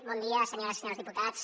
bon dia senyores i senyors diputats